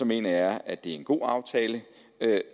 mener jeg at det er en god aftale